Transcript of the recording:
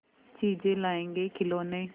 चीजें लाएँगेखिलौने